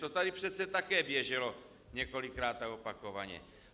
To tady přece také běželo několikrát a opakovaně.